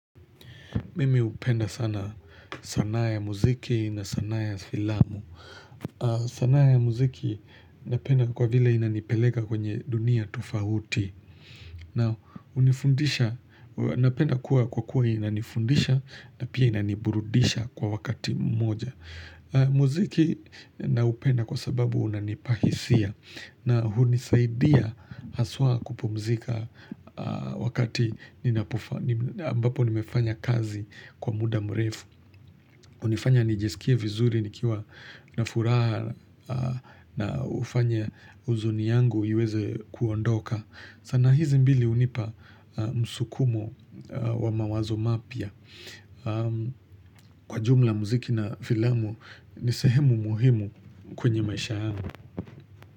Mimi hupenda sana sanaa ya muziki na sanaa ya filamu. Sanaa ya muziki napenda kwa vile inanipeleka kwenye dunia tofauti. Na unifundisha, napenda kuwa kwa kuwa inanifundisha na pia inaniburudisha kwa wakati moja. Muziki na upenda kwa sababu unanipahisia. Na hunisaidia haswa kupumzika wakati ninapofa, ambapo nimefanya kazi kwa muda mrefu. Unifanya nijisikie vizuri nikiwa na furaha na hufanya uzuni yangu iweze kuondoka. Sanaa hizi mbili hunipa msukumo wa mawazo mapya. Kwa jumla muziki na filamu, nisehemu muhimu kwenye maisha yamu.